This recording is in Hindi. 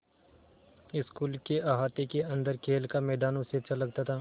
स्कूल के अहाते के अन्दर खेल का मैदान उसे अच्छा लगता था